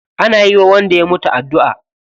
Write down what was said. Ana yiwa wanda ya mutu addu'a.